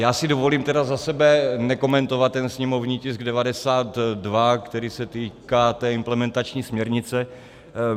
Já si dovolím tedy za sebe nekomentovat ten sněmovní tisk 92, který se týká té implementační směrnice.